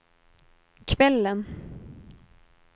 kvällen